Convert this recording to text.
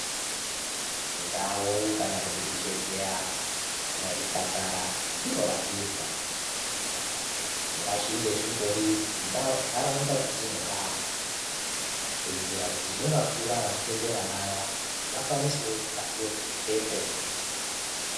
Ndau kana kuti zvibhedhlera kana zvipatara zvatinorapirwa ngazvinge zvingori munharaunda dzatinogara kuitire kuti nevakura nevachembera vaya vakwanisewo kukasira kusvikepo.